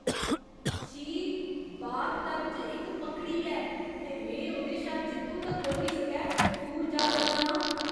छी, बाथटब च इक मक्कड़ी ऐ ते में ओह्दे शा जित्थू तक्कर होई सकै दूर जा करना आं।